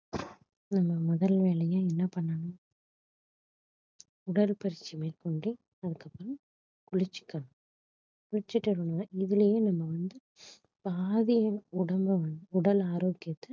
நம்ம முதல் வேலையா என்ன பண்ணனும் உடற்பயிற்சி மேற்கொண்டு அதுக்கப்புறம் குளிச்சிக்கணும் குளிச்சிட்டவுடனே இதிலயே நம்ம வந்து பாதி உடம்ப வந்து உடல் ஆரோக்கியத்தை